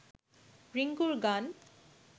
রিংকুর গান